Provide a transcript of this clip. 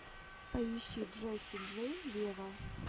поищи джесси джей вево